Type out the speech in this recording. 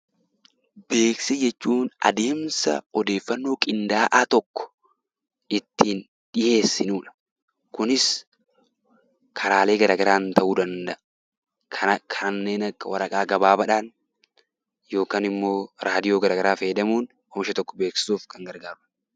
Beeksisa jechuun adeemsa odeeffannoo qindaa'aa tokko ittiin dhiyeessinudha. Kunis karaalee garagaraan ta'uu danda'a karaa kanneen akka waraqaa gabaabaadhaan yookaanimmoo radio garagaraa fayyadamuudhan meeshaa tokko beeksisuuf kan gargaarudha.